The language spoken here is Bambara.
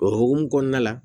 O hukumu kɔnɔna la